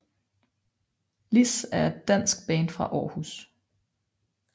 Liss er et dansk band fra Aarhus